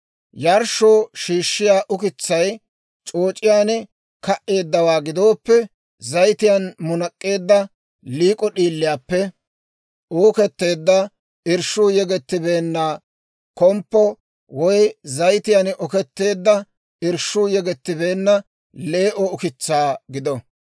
« ‹Yarshshoo shiishshiyaa ukitsay c'ooc'iyaan ka"eeddawaa gidooppe, zayitiyaan munak'k'eedda liik'o d'iiliyaappe uuketteedda irshshuu yegettibeenna komppo, woy zayitiyaan oketteedda, irshshuu yegettibeenna lee"o ukitsaa gido.